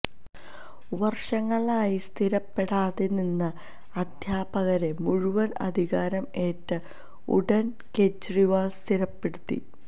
വർഷങ്ങളായി സ്ഥിരപ്പെടാതെ നിന്ന അധ്യാപകരെ മുഴുവൻ അധികാരം ഏറ്റ ഉടൻ കേജ്രിവാൾ സ്ഥിരപ്പെടുത്തി